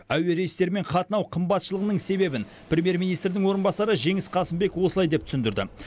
әуе рейстерімен қатынау қымбатшылығының себебін премьер министрдің орынбасары жеңіс қасымбек осылай деп түсіндірді